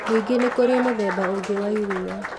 Ningĩ nĩ kũrĩ mũthemba ũngĩ wa iriia